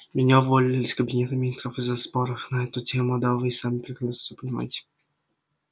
меня уволили из кабинета министров из-за споров на эту тему да вы и сами прекрасно всё понимаете